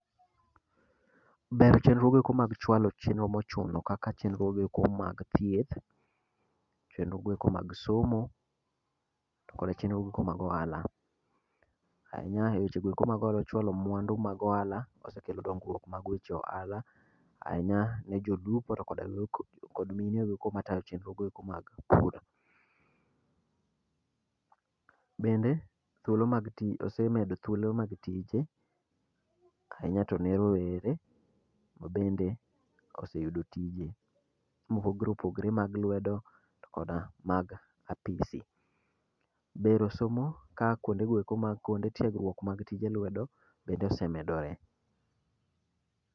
Ber chenro goeko mag chwalo chenro mochuno kaka chenrogoeko mag thieth, chenrogoeko mag somo, to kod chenrogoeko mag ohala. Ahinya e weche goeko mag holo chwalo mwandu mag ohala osekelo dongruok mag weche ohala. Ahinya ne jolupo to koda, kod mine goeko matayo chenro goeko mag bura. Bende, thuolo mag ti osemedo thuolo mag tije. Ahinya to ne rowere ma bende oseyudo tije, mopogre opogre mag lwedo to koda mag apisi. Bero somo ka kuondegoeko mag kuonde tiegruok mag tije lwedo, bende osemedore.